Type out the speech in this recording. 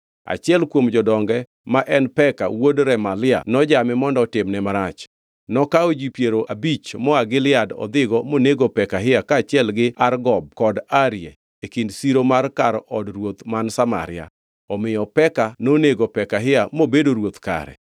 Achiel kuom jodonge, ma en Peka wuod Remalia nojame mondo otimne marach. Nokawo ji piero abich moa Gilead odhigo monego Pekahia kaachiel gi Argob kod Arie, e kind siro mar kar od ruoth man Samaria. Omiyo Peka nonego Pekahia mobedo ruoth kare.